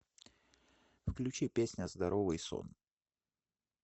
включи песня здоровый сон